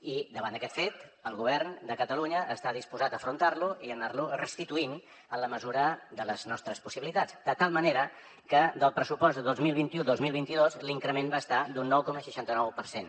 i aquest fet el govern de catalunya està disposat a afrontar lo i a anar lo restituint en la mesura de les nostres possibilitats de tal manera que el pressupost de dos mil vint u dos mil vint dos l’increment va ser d’un nou coma seixanta nou per cent